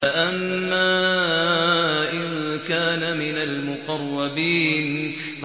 فَأَمَّا إِن كَانَ مِنَ الْمُقَرَّبِينَ